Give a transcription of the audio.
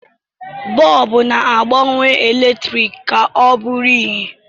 Bọọbụ na-agbanwe eletrik ka ọ bụrụ ìhè.